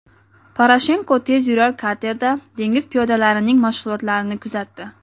Poroshenko tezyurar katerda dengiz piyodalarining mashg‘ulotlarini kuzatdi.